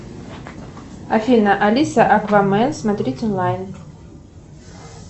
афина алиса аквамен смотреть онлайн